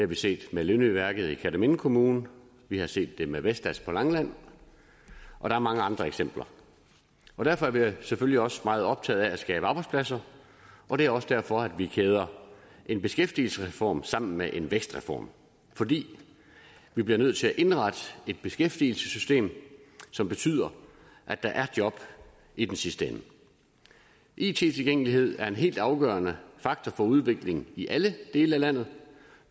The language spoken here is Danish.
vi set med lindøværftet i kerteminde kommune vi har set det med vestas på langeland og der er mange andre eksempler derfor er vi selvfølgelig også meget optaget af at skabe arbejdspladser og det er også derfor vi kæder en beskæftigelsesreform sammen med en vækstreform fordi vi bliver nødt til at indrette et beskæftigelsessystem som betyder at der er job i den sidste ende it tilgængelighed er en helt afgørende faktor for udviklingen i alle dele af landet